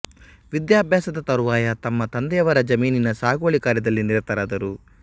ವಿದ್ಯಾಭ್ಯಾಸದ ತರುವಾಯ ತಮ್ಮ ತಂದೆಯವರ ಜಮೀನಿನ ಸಾಗುವಳಿ ಕಾರ್ಯದಲ್ಲಿ ನಿರತರಾದರು